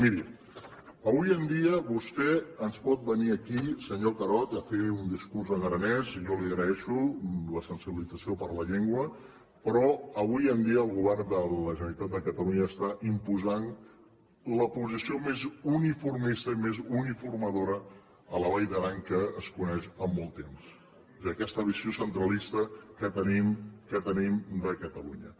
miri avui en dia vostè ens pot venir aquí senyor carod a fer un discurs en aranès i jo li agraeixo la sensibilització per la llengua però avui en dia el govern de la generalitat de catalunya està imposant la posició més uniformista i més uniformadora a la vall d’aran que es coneix en molt temps i aquesta visió centralista que tenim de catalunya